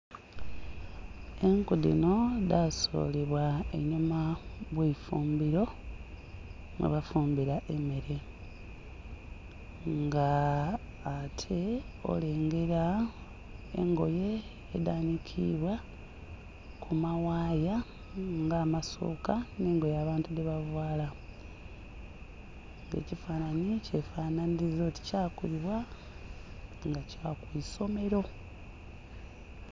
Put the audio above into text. Enku dhino dhasulibwa einhuma gh'eifumbilo ghebafumbila emmere. Nga ate olengela engoye edhanhikibwa ku ma waaya nga amasuuka nh'engoye abantu dhebavaala. Ekifanhanhi kyefanhaniliza oti kyakubibwa nga kya ku isomero.